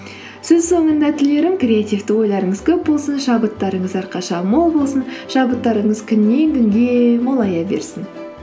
сөз соңында тілерім креативті ойларыңыз көп болсын шабыттарыңыз әрқашан мол болсын шабыттарыңыз күннен күнге молая берсін